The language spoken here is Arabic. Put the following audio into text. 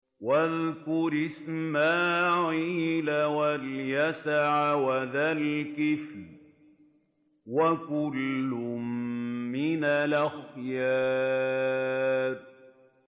وَاذْكُرْ إِسْمَاعِيلَ وَالْيَسَعَ وَذَا الْكِفْلِ ۖ وَكُلٌّ مِّنَ الْأَخْيَارِ